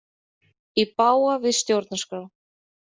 Í bága við stjórnarskrá